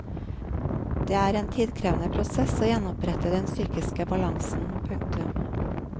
Det er en tidkrevende prosess å gjenopprette den psykiske balansen. punktum